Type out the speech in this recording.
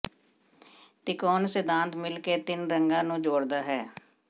ਤਿਕੋਣ ਸਿਧਾਂਤ ਮਿਲ ਕੇ ਤਿੰਨ ਰੰਗਾਂ ਨੂੰ ਜੋੜਦਾ ਹੈ